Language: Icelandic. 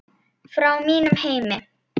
Frá mínum heimi.